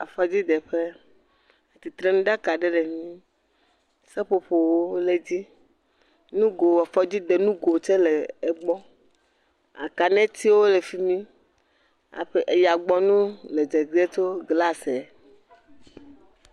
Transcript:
Afɔdzi de ƒe. tsitre ŋu ɖaka aɖe le egbɔ. Seƒoƒo le edzi. Nugo, afɔdzi de nugo tse le egbɔ, aka ne tse wole fimi, aƒe eyagbɔnuwo le gzegze tso glas eh me..